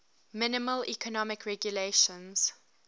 minimal economic regulations